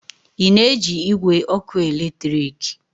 Ị na-eji igwe ọkụ eletrik?